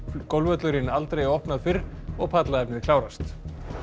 golfvöllurinn aldrei opnað fyrr og klárast